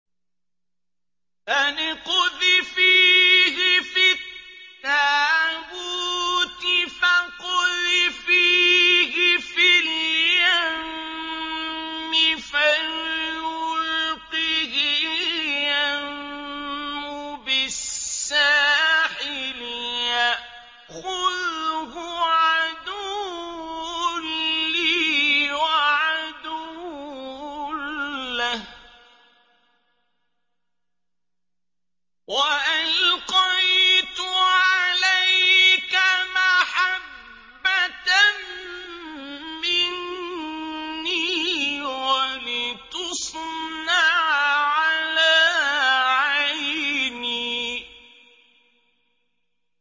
أَنِ اقْذِفِيهِ فِي التَّابُوتِ فَاقْذِفِيهِ فِي الْيَمِّ فَلْيُلْقِهِ الْيَمُّ بِالسَّاحِلِ يَأْخُذْهُ عَدُوٌّ لِّي وَعَدُوٌّ لَّهُ ۚ وَأَلْقَيْتُ عَلَيْكَ مَحَبَّةً مِّنِّي وَلِتُصْنَعَ عَلَىٰ عَيْنِي